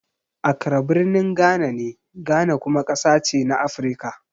Accra birnin Ghana ne, Ghana kuma ƙasa ce na Afirka.